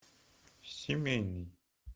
семейный